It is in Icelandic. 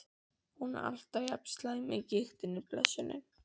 Er hún alltaf jafn slæm af gigtinni, blessunin?